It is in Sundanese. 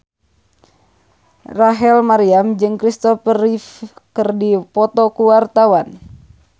Rachel Maryam jeung Kristopher Reeve keur dipoto ku wartawan